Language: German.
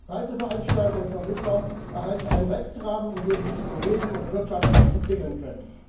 Reiseveranstalter und vermittler erhalten einen Rechtsrahmen, in dem sie sich bewegen und wirtschaftlich entwickeln können.